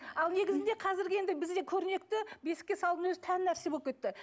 ал негізінде қазіргі енді бізде көрнекті бесікке салудың өзі тән нәрсе болып кетті